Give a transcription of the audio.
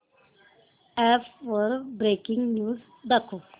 app वर breaking news दाखव